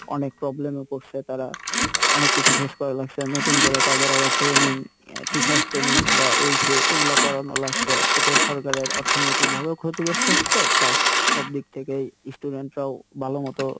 অনেক problem এ পরসে তারা অনেক কিছু face করা লাগসে নতুন করে তাদের আবার training teacher's training বা এই সেই এগুলা করানো লাগসে এতে সরকারের অর্থনৈতিক ভাবেও ক্ষতিগ্রস্থ হচ্ছে plus সব দিক থেকেই student রাও ভালো মত